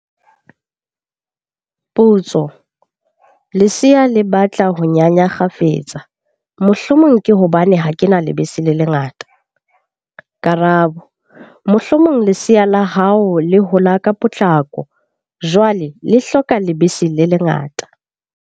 Potso. Lesea le batla ho nyanya kgafetsa, mohlomong ke hobane ha ke na lebese le lekaneng? Karabo. Mohlomong lesea la hao le hola ka potlako, jwale le hloka lebese le le ngata.